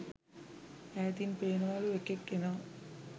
ඈතින් පේනවලු එකෙක් එනවා